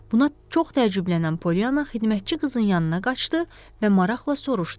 Buna çox təəccüblənən Polyanna xidmətçi qızın yanına qaçdı və maraqla soruşdu.